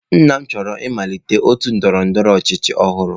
Nna m chọrọ ịmalite otu ndọrọ ndọrọ ọchịchị ọhụrụ.